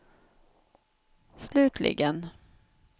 slutligen